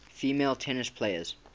female tennis players